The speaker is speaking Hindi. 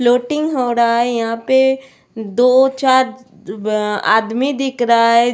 फ्लोटिंग हो रहा है यहां पे दो चार आदमी दिख रहा है.